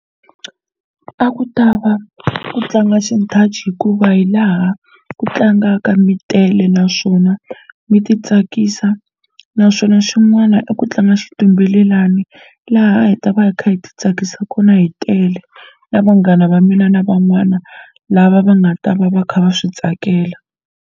A ku ta va ku tlanga xinthaci hikuva hi laha ku tlangaka mi tele naswona mi ti tsakisa naswona xin'wana i ku tlanga xitumbelelani laha hi ta va hi kha hi ti tsakisa kona hi tele na vanghana va mina na van'wana lava va nga ta va va kha va swi tsakela.